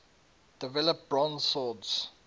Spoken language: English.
develop bronze swords